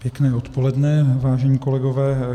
Pěkné odpoledne, vážení kolegové.